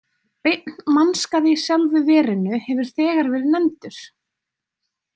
Beinn mannskaði í sjálfu verinu hefur þegar verið nefndur.